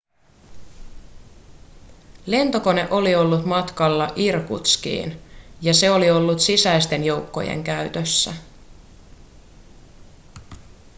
lentokone oli ollut matkalla irkutskiin ja se oli ollut sisäisten joukkojen käytössä